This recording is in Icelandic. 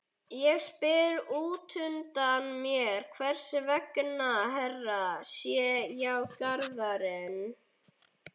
Ég spyr útundan mér hvers vegna Hera sé hjá Garðari.